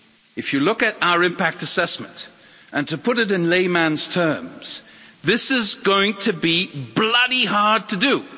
If you look at our impact assessment, and to put it in layman's terms this is going to be bloody hard to do!